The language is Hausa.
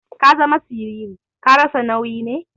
Ka zama siriri. Ka rasa nauyi ne?